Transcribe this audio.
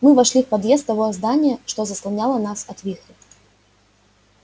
мы вошли в подъезд того здания что заслоняло нас от вихря